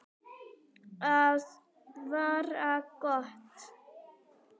Það var gott.